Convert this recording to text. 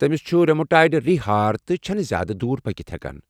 تٔمِس چھُ ریومیٹایڈ رِییہ ہار تہٕ چھنہٕ نہٕ زیادٕ دوُر پٔکِتھ ہیكان ۔